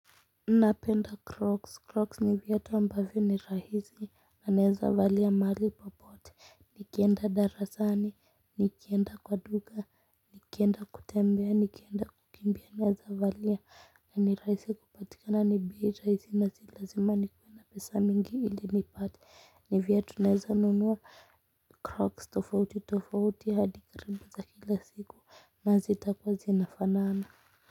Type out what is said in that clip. Napenda crocs. Crocs ni viatu ambavyo ni rahisi na naeza valia mahali popote nikienda darasani, nikienda kwa duka, nikienda kutembea, nikienda kukimbia naeza valia na ni rahisi kupatikana ni bei rahisi na si lazima nikuwe na pesa mingi ili nipate. Ni viatu naeza nunua crocs tofauti tofauti hadi karibu za kila siku na hazitakuwa zinafanaana.